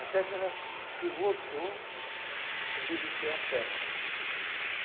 Até que ela que voltou a envivecer as perna.